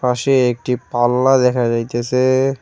পাশে একটি পাল্লা দেখা যাইতেসে।